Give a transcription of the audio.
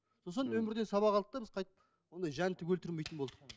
сосын өмірден сабақ алдық та біз қайтіп ондай жәндік өлтірмейтін болдық